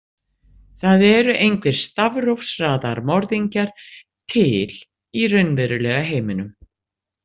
Það eru engir stafrófsraðarmorðingjar til í raunverulega heiminum.